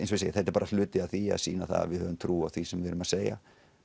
þetta er bara hluti af því að sýna að við höfum trú á því sem við erum að segja